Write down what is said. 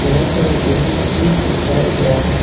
बहोत सारा बैलून भी चिपकाया गया है।